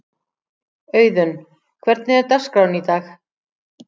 Auðun, hvernig er dagskráin í dag?